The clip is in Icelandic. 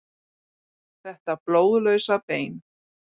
Þetta blóðlausa bein.